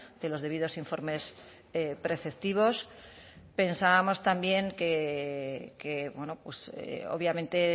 de los debidos informes preceptivos pensábamos también que obviamente